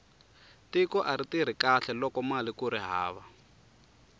tiko ari tirhi kahle lokomali kuri hava